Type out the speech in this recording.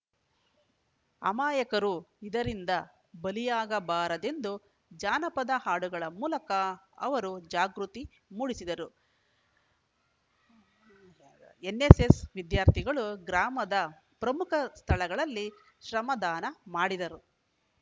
ಅಮಾಯಕರು ಇದರಿಂದ ಬಲಿಯಾಗಬಾರದೆಂದು ಜಾನಪದ ಹಾಡುಗಳ ಮೂಲಕ ಅವರು ಜಾಗೃತಿ ಮೂಡಿಸಿದರು ಎನ್ನೆಸ್ಸೆಸ್‌ ವಿದ್ಯಾರ್ಥಿಗಳು ಗ್ರಾಮದ ಪ್ರಮುಖ ಸ್ಥಳಗಳಲ್ಲಿ ಶ್ರಮದಾನ ಮಾಡಿದರು